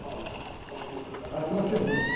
então, só para retornar... transcendência.